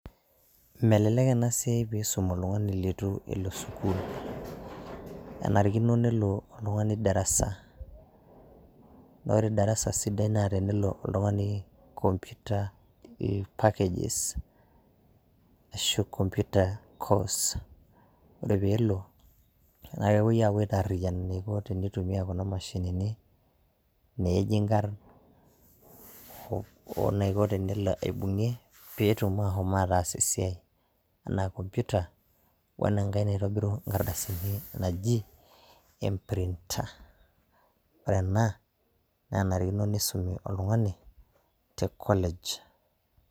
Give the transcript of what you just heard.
Melelek anasiai e-nkisuma. Iisum oltung'ani litu elo sukul enarikino nelo oltung'ani darasa.na ore darasa sidai kishaakino nelo oltung'ani computer packages arashu computer course ore pee olo naa kepuoi atariyian eniko tenitumia Kuna mashinini, neeji ikarn,o naiko tenelo aibung' peetum ahom ataas esiai Ena computer wena-enkae naitobiru ikardasini naji printer . Ore Ena, na enarikino nisumi oltung'ani te college